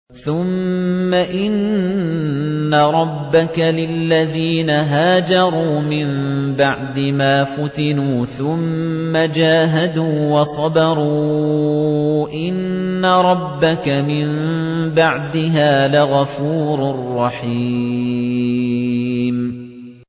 ثُمَّ إِنَّ رَبَّكَ لِلَّذِينَ هَاجَرُوا مِن بَعْدِ مَا فُتِنُوا ثُمَّ جَاهَدُوا وَصَبَرُوا إِنَّ رَبَّكَ مِن بَعْدِهَا لَغَفُورٌ رَّحِيمٌ